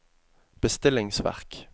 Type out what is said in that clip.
bestillingsverk